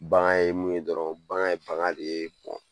Bagan ye mun ye dɔrɔn, bagan ye fanga ye de